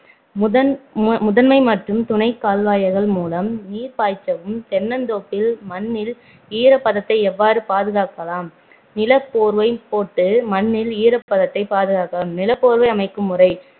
முதன்~ முதன்மை மற்றும் துணைக் கால்வாய்கள் மூலம் நீர் பாய்ச்சவும் தென்ந்தோப்பில் மண்ணில் ஈரப் பதத்தை எவ்வாறு பாதுகாக்கலாம் நிலப் போர்வை போட்டு மண்ணில் ஈரப்பதத்தை பாதுகாக்கலாம் நிலப்போர்வை அமைக்கும் முறை